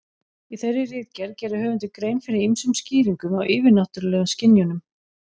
Í þeirri ritgerð gerir höfundur grein fyrir ýmsum skýringum á yfirnáttúrulegum skynjunum.